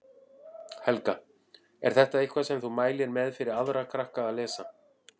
Helga: Er þetta eitthvað sem þú mælir með fyrir aðra krakka að lesa?